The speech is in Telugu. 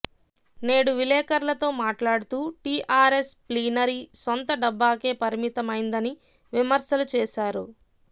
నేడు విలేఖర్లతో మాట్లాడుతూ టిఆర్ఎస్ ప్లీనరీ సొంత డబ్బాకే పరిమితమైందని విమర్శలు చేశారు